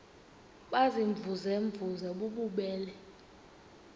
baziimvuze mvuze bububele